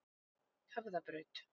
Höfðabraut